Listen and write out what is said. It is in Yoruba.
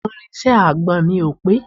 àwọn irinṣẹ́ agbọn mi ò pé